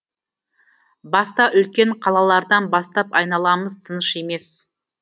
баста үлкен қалалардан бастап айналамыз тыныш емес